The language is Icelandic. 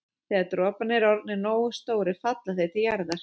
Þegar droparnir eru orðnir nógu stórir falla þeir til jarðar.